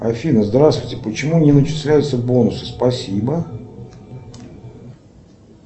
афина здравствуйте почему не начисляются бонусы спасибо